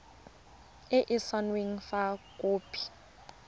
e e saenweng fa khopi